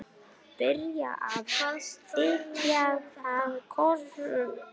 Byrjar að þekja það kossum.